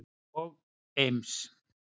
og Eims